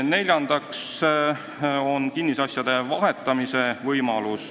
Neljas võimalus on kinnisasjade vahetamine.